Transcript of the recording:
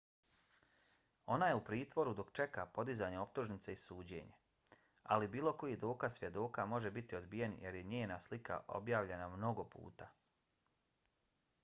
ona je u pritvoru dok čeka podizanje optužnice i suđenje ali bilo koji dokaz svjedoka može biti odbijen jer je njena slika objavljena mnogo puta